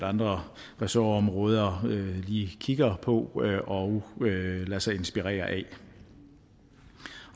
andre ressortområder lige kigger på og lader sig inspirere af